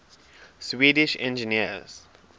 swedish engineers